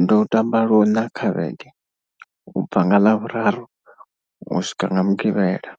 ndi u tamba luṋa kha vhege ubva nga ḽavhuraru u swika nga mugivhela.